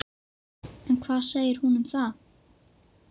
En hvað segir hún um það?